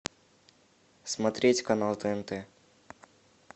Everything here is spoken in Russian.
смотреть канал тнт